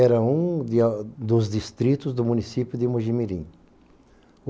Era um de, dos distritos do município de Mojimirim.